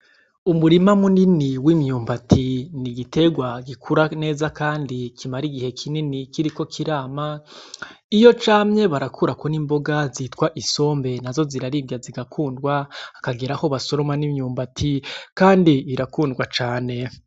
Umurima munini w'imyumbati n'igiterwa gikura neza, kandi kimara igihe kinini kiriko kirama, iyo camye barakurako n'imboga zitwa isombe, nazo ziraribwa zigakundwa hakageraho basoroma n'imyumbati, kandi irakundwa cane.